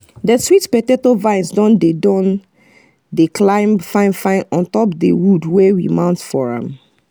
the sweet potato vines don dey don dey climb fine fine ontop the wood wey we mount fo am